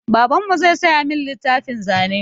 Babanmu zai saya min littafin zane.